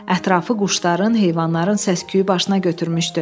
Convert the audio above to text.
Ətrafı quşların, heyvanların səs-küyü başına götürmüşdü.